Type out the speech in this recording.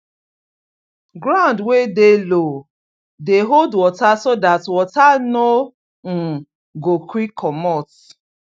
ground wey dey low dey hold water so that water no um go quick comot